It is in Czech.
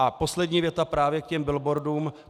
A poslední věta právě k těm billboardům.